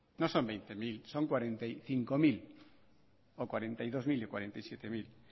no son veinte mil son cuarenta y cinco mil o cuarenta y dos mil y cuarenta y siete mil